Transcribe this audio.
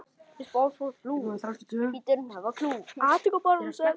Blessuð sé minning elsku Magneu.